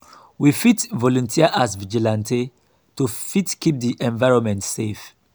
we fit volunteer as vigilante to fit keep di environment safe